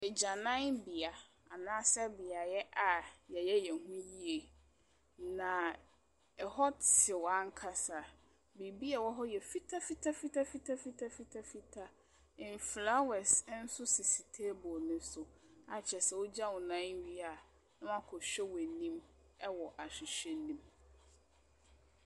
Agyananbea anaa sɛ beaeɛ a wɔyɛ wɔn ho yie. Na ɛhɔ te hɔ ankasa. Biribiara a ɛwɔ hɔ yɛ fitafitafitafitafitafitafitaa. Nfelawɛse nso sisi table no so a kyerɛ sɛ wogya wo nan wie a, na woakɔhwɛ woanim wɔ ahwehwɛ no mu.